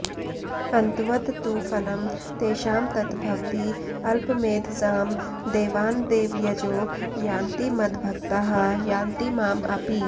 अन्तवत् तु फलं तेषां तत् भवति अल्पमेधसाम् देवान् देवयजो यान्ति मद्भक्ताः यान्ति माम् अपि